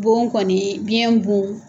Bon kɔni biɲɛn bon